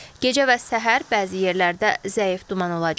Gecə və səhər bəzi yerlərdə zəif duman olacaq.